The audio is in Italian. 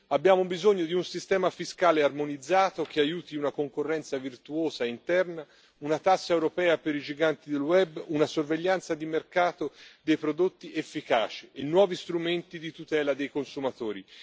Abbiamo bisogno di un sistema fiscale armonizzato che aiuti una concorrenza virtuosa interna, una tassa europea per i giganti del web, una sorveglianza di mercato dei prodotti efficaci, e nuovi strumenti di tutela dei consumatori.